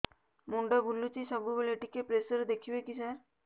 ମୁଣ୍ଡ ବୁଲୁଚି ସବୁବେଳେ ଟିକେ ପ୍ରେସର ଦେଖିବେ କି ସାର